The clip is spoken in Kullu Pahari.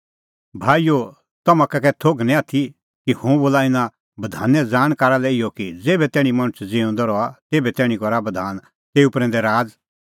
भाईओ तम्हां का कै थोघ निं आथी कि हुंह बोला इना बधाने ज़ाणकारा लै इहअ कि ज़ेभै तैणीं मणछ ज़िऊंदअ रहा तेभै तैणीं करा बधान तेऊ प्रैंदै राज़